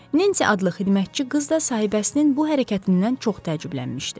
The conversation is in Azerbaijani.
Nensi adlı xidmətçi qız da sahibəsinin bu hərəkətindən çox təəccüblənmişdi.